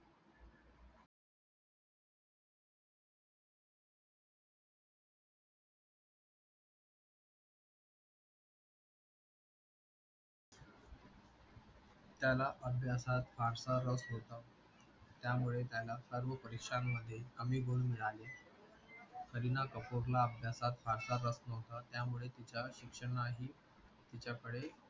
त्याला अभ्यासात फारसारस होता त्यामुळे त्याला सर्व परीक्षान मध्ये कमी गुण मिळाले करीना कपूरला अभ्यासात फारसारस नहोता त्यामूळे तिच्या शिक्षणा ही तिच्या कळे